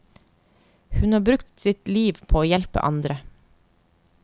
Hun har brukt sitt liv på å hjelpe andre.